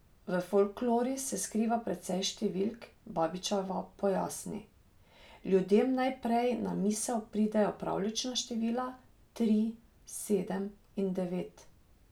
V folklori se skriva precej številk, Babičeva pojasni: "Ljudem najprej na misel pridejo pravljična števila, tri, sedem in devet.